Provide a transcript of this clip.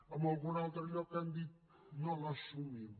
en algun altre lloc han dit no l’assumim